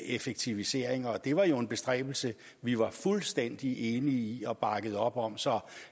effektiviseringer og det var en bestræbelse vi var fuldstændig enige i i og bakkede op om så